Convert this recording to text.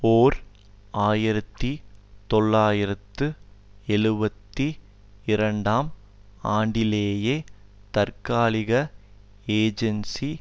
ஓர் ஆயிரத்தி தொள்ளாயிரத்து எழுபத்தி இரண்டாம் ஆண்டிலேயே தற்காலிக ஏஜென்சி